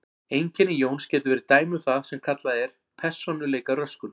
Einkenni Jóns gætu verið dæmi um það sem kallað er persónuleikaröskun.